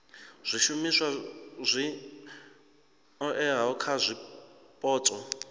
zwishumiswa zwi oeaho kha zwipotso